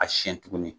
A siyɛn tuguni